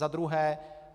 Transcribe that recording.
Za druhé.